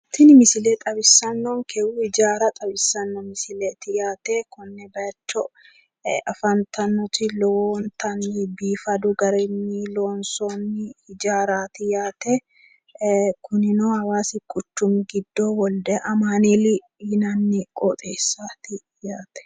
Tini misile zawisannonkehu hijaara xawissannonkete yaate. Konne baayiicho afantannoti lowontanni biifadu garinni loonsoonni hijaaraati yaate kunino hawaasi quchumi giddo wolde amaaneeli yinanni qooxeessaati yaate.